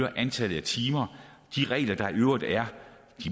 antallet af timer de regler der i øvrigt er